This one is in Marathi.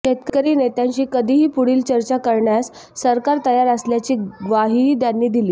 शेतकरी नेत्यांशी कधीही पुढील चर्चा करण्यास सरकार तयार असल्याची ग्वाहीही त्यांनी दिली